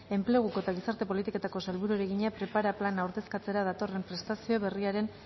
enpleguko eta gizarte politiketako sailburuari egina prepara plana ordezkatzera datorren prestazio berriaren